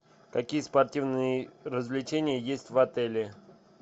какие спортивные развлечения есть в отеле